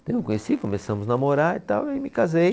Então eu conheci, começamos namorar e tal aí me casei.